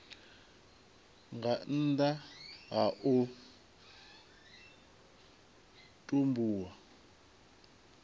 nga nnda ha u tumbulwa